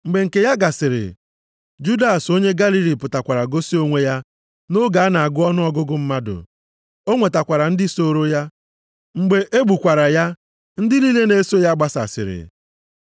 Mgbe nke ya gasịrị, Judas onye Galili pụtakwara gosi onwe ya nʼoge a na-agụ ọnụọgụgụ mmadụ, o nwetakwara ndị sooro ya. Mgbe e gbukwara ya, ndị niile na-eso ya gbasasịrị.